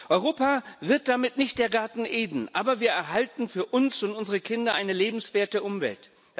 Europa wird damit nicht der Garten Eden, aber wir erhalten für uns und unsere Kinder eine lebenswerte Umwelt.